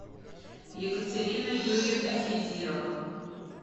екатерина юрьевна хидирова